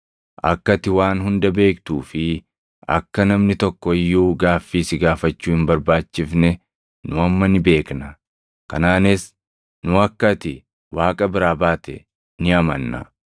Akka ati waan hunda beektuu fi akka namni tokko iyyuu gaaffii si gaafachuu hin barbaachifne nu amma ni beekna. Kanaanis nu akka ati Waaqa biraa baate ni amanna.”